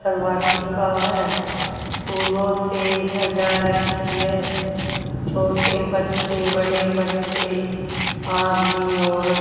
करवा टिका है फूलों से सजा रखी है छोटे बच्चे बड़े बच्चे आदमी औरत--